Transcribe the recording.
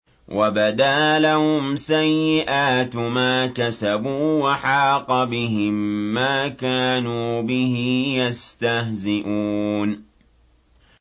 وَبَدَا لَهُمْ سَيِّئَاتُ مَا كَسَبُوا وَحَاقَ بِهِم مَّا كَانُوا بِهِ يَسْتَهْزِئُونَ